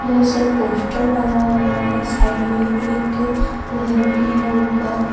بہت سارا پوسٹر لگا ہوا ہے، سائیڈ مے ایک گھر بھی ہے اپر- بہت سارا پوسٹر لگا ہوا ہے، سائیڈ مے ایک گھر بھی ہے اپر-